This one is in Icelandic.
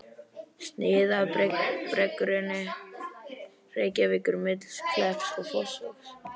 Snið af berggrunni Reykjavíkur milli Klepps og Fossvogs.